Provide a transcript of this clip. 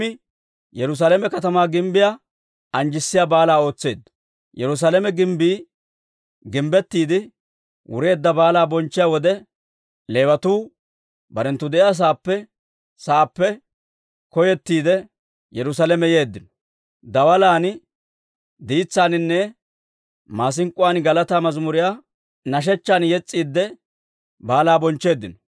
Yerusaalame gimbbii gimbbettiide wureedda baalaa bonchchiyaa wode, Leewatuu barenttu de'iyaasaappe saappe koyettiide, Yerusaalame yeeddino; daalan, diitsaaninne maasink'k'uwaan galataa mazimuriyaa nashechchan yes's'iidde, baalaa bonchcheeddino.